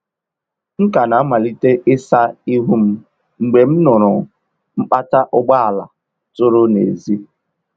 M ka na-amalite ịsa ihu m mgbe m nụụrụ mkpata ụgbọala tụrụ n’èzí.